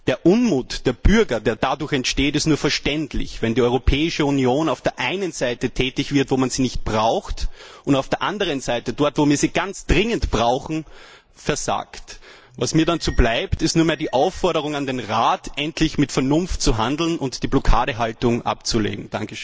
Der Unmut der Bürger, der dadurch entsteht, ist nur verständlich, wenn die Europäische Union auf der einen Seite tätig wird, wo man sie nicht braucht, und auf der anderen Seite, dort, wo wir sie ganz dringend brauchen, versagt. Was mir bleibt, ist nur mehr die Aufforderung an den Rat, endlich mit Vernunft zu handeln und die Blockadehaltung abzulegen.